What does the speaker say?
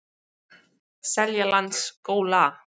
Seljalandsskóla